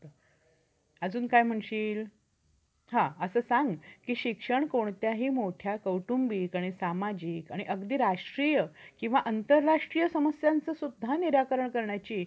अजून काय म्हणशील, हा असं सांग कि शिक्षण कोणत्याही मोठ्या कौटुंबिक आणि सामाजिक आणि अगदी राष्ट्रीय किंवा आंतरराष्ट्रीय समस्यांचं सुद्धा निराकरण करण्याची